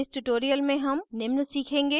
इस tutorial में हम निम्न सीखेंगे